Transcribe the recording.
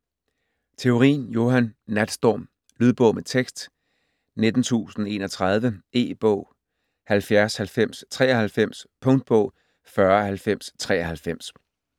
Theorin, Johan: Natstorm Lydbog med tekst 19031 E-bog 709093 Punktbog 409093